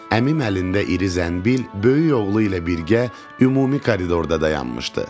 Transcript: Əmim əlində iri zənbil, böyük oğlu ilə birgə ümumi koridorda dayanmışdı.